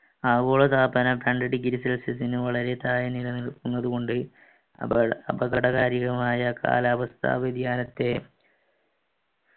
ആഗോളതാപനം degree celsius ന് വളരെ താഴെ നിലനിൽക്കുന്നതുകൊണ്ട് അപകടകാരിയുമായ കാലാവസ്ഥാ വ്യതിയാനത്തെ